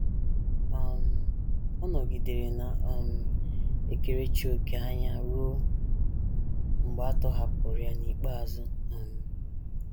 um Ọ nọgidere na - um ekerechi òkè anya ruo mgbe a tọhapụrụ ya n’ikpeazụ um.